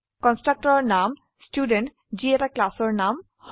কন্সট্ৰকটৰৰ নাম ষ্টুডেণ্ট যি এটা ক্লাসৰ নাম হয়